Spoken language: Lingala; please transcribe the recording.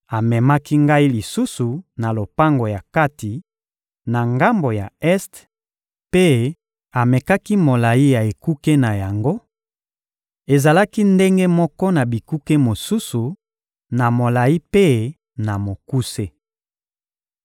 Amemaki ngai lisusu na lopango ya kati, na ngambo ya este, mpe amekaki molayi ya ekuke na yango: ezalaki ndenge moko na bikuke mosusu, na molayi mpe na mokuse.